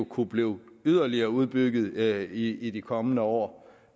kunne blive yderligere udbygget i de kommende år